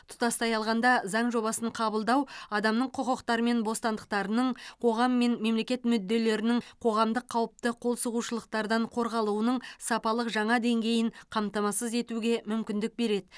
тұтастай алғанда заң жобасын қабылдау адамның құқықтары мен бостандықтарының қоғам мен мемлекет мүдделерінің қоғамдық қауіпті қолсұғушылықтардан қорғалуының сапалық жаңа деңгейін қамтамасыз етуге мүмкіндік береді